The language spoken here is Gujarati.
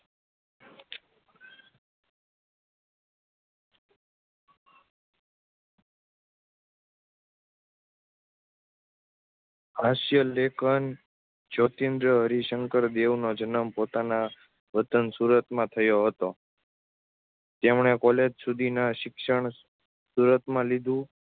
હાસ્ય લેખન જ્યોતીન્દ્ર હરિ શઁકર દેવનો જન્મ પોતાના વતન સુરત માં થયો હતો. તેમને કોલેજ સુધીના શિક્ષણ સુરતમાં લીધું